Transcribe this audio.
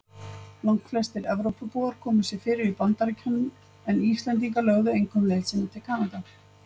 Langflestir Evrópubúar komu sér fyrir í Bandaríkjunum en Íslendingar lögðu einkum leið sína til Kanada.